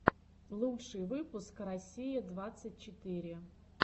лучший выпуск россия двадцать четыре